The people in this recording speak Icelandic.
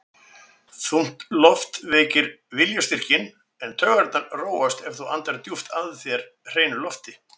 Þung loft veikir viljastyrkinn, en taugarnar róast ef þú andar djúpt að þér hreinu lofti.